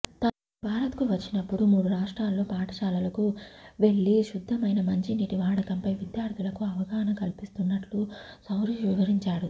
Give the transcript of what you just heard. తాను భారత్కు వచ్చినప్పుడు మూడు రాష్ట్రాల్లో పాఠశాలలకు వెళ్లి శుద్ధమైన మంచినీటి వాడకంపై విద్యార్థులకు అవగాహన కల్పిస్తున్నట్లు సౌరిష్ వివరించాడు